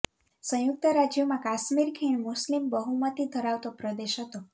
સંયુક્ત રાજ્યમાં કાશ્મીર ખીણ મુસ્લિમ બહુમતી ધરાવતો પ્રદેશ હતો